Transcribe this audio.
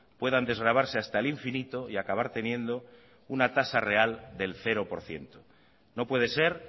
puedan desgravarse hasta el infinito y acabar teniendo una tasa real del cero por ciento no puede ser